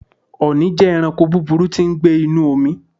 Ọ̀nì jẹ́ ẹranko búburú tí ń gbé inúu omi.